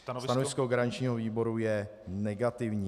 Stanovisko garančního výboru je negativní.